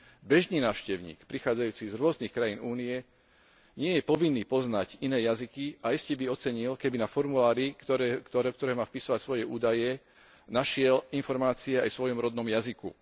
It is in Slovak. Bežný návštevník prichádzajúci z rôznych krajín Únie nie je povinný poznať iné jazyky a iste by ocenil, keby na formulári, do ktorého má vpisovať svoje údaje, našiel informácie aj vo svojom rodnom jazyku.